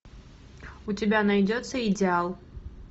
у тебя найдется идеал